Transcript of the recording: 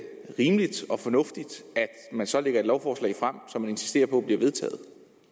rimeligt og fornuftigt at man så lægger et lovforslag frem som man insisterer på bliver vedtaget